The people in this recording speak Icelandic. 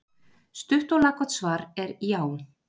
Stutt og laggott svar er já.